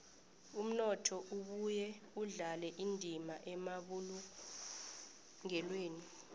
umnotho ubuye udlale indima emabulungelweni